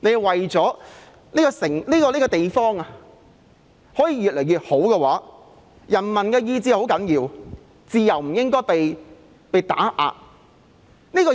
想這個地方越來越好，人民的意志是很重要的，自由不應該被打壓。